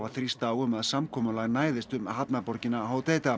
þrýst á um að samkomulag næðist um hafnarborgina